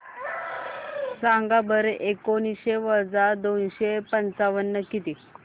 सांगा बरं एकोणीसशे वजा दोनशे पंचावन्न किती